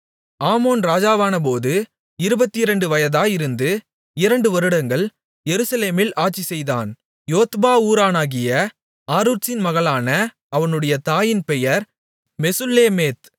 ஆமோன் ராஜாவானபோது இருபத்திரண்டு வயதாயிருந்து இரண்டு வருடங்கள் எருசலேமில் ஆட்சிசெய்தான் யோத்பா ஊரானாகிய ஆரூத்சின் மகளான அவனுடைய தாயின் பெயர் மெசுல்லேமேத்